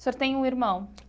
o senhor tem um irmão?